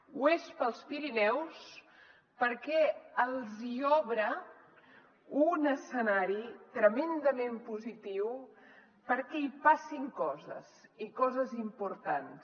ho és per als pirineus perquè els hi obre un escenari tremendament positiu perquè hi passin coses i coses importants